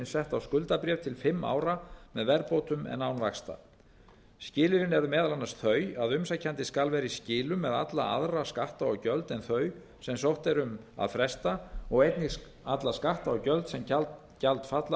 sett á skuldabréf til fimm ára með verðbótum en án vaxta skilyrðin eru meðal annars þau að umsækjandi skal vera í skilum með alla aðra skatta og gjöld en þau sem sótt er um að fresta og einnig alla skatta og gjöld sem gjaldfalla